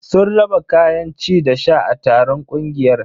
Sun raba kayan ci da sha a taron ƙungiyar.